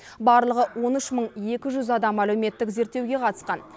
барлығы он үш мың екі жүз адам әлеуметтік зерттеуге қатысқан